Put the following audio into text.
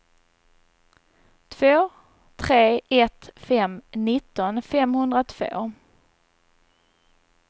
två tre ett fem nitton femhundratvå